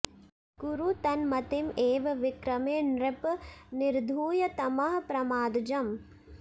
कुरु तन्मतिं एव विक्रमे नृप निर्धूय तमः प्रमादजम्